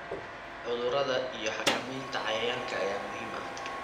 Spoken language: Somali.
Cudurada iyo xakamaynta cayayaanka ayaa muhiim ah.